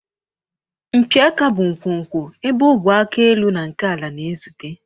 Mpi aka bụ nkwonkwo ebe ogwe aka elu na nke ala na-ezute.